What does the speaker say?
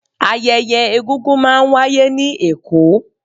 ayẹyẹ egungun ma n wàyé ni Èko